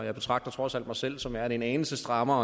og jeg betragter trods alt mig selv som værende en anelse skrappere